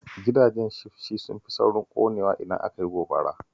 Gidajen shifci sun fi saurin ƙonewa idan aka yi gobara